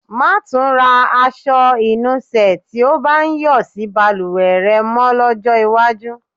Má́ tún ra aṣọ ìnusẹ̀ tí ó bá ń yọ̀ sí balùwẹ̀ rẹ mọ́ lọ́jọ́ iwájú.